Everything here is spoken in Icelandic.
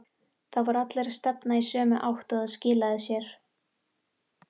Það voru allir að stefna í sömu átt og það skilaði sér.